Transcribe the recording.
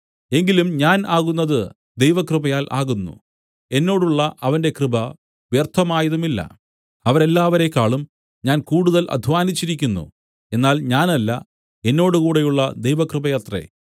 എങ്കിലും ഞാൻ ആകുന്നത് ദൈവകൃപയാൽ ആകുന്നു എന്നോടുള്ള അവന്റെ കൃപ വ്യർത്ഥമായതുമില്ല അവരെല്ലാവരെക്കാളും ഞാൻ കൂടുതൽ അദ്ധ്വാനിച്ചിരിക്കുന്നു എന്നാൽ ഞാനല്ല എന്നോടുകൂടെയുള്ള ദൈവകൃപയത്രേ